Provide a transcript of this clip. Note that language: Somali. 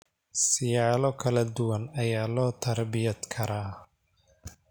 Siyaalo kala duwan ayaa loo tarbiyad karaa.